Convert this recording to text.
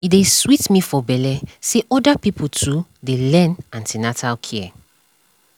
e dey sweet me for belle say other pipo too dey learn an ten atal care